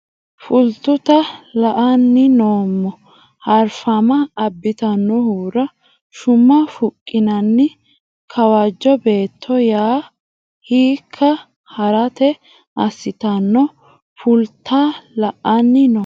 Fultuta la anni noo harfama abbitannohura shuma fuqqinanni Kawajjo Beetto ya hiikka ha ratta assitanno Fultuta la anni noo harfama abbitannohura shuma fuqqinanni Kawajjo.